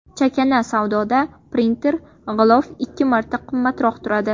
Chakana savdoda printer g‘ilof ikki marta qimmatroq turadi.